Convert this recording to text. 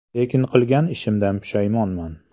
Lekin qilgan ishimdan pushaymonman.